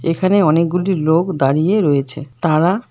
এখানে অনেকগুলি লোক দাঁড়িয়ে রয়েছে তারা--